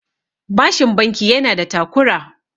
bashin banki yana da takura